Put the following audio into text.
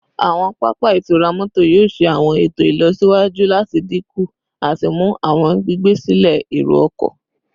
Awọn papa itura mọto yoo ṣe awọn eto ilọsiwaju lati dinku idinku ati mu awọn gbigbe silẹ ero-ọkọ